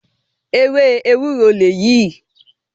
Ewé Ewúró lèyí ìí.